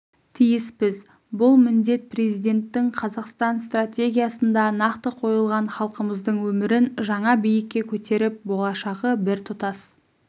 тиіспіз бұл міндет президенттің қазақстан стратегиясында нақты қойылған халқымыздың өмірін жаңа биікке көтеріп болашағы біртұтас